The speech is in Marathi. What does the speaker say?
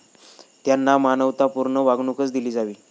त्यांना मानवतापूर्ण वागणूकच दिली जावी.